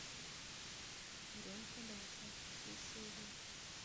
буренка даша все серии